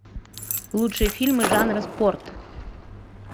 лучшие фильмы жанра спорт